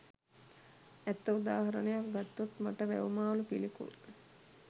ඇත්ත උදාහරණයක් ගත්තොත් මට වැව්මාළු පිළිකුල්.